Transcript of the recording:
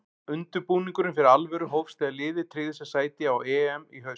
Undirbúningurinn fyrir alvöru hófst þegar liðið tryggði sér sæti á EM í haust.